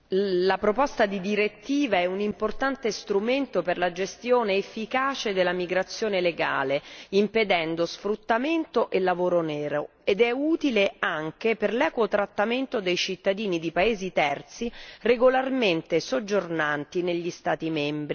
La proposta di direttiva è un importante strumento per la gestione efficace della migrazione legale, impedendo sfruttamento e lavoro nero, ed è utile anche per l'equo trattamento dei cittadini di paesi terzi regolarmente soggiornanti negli Stati membri.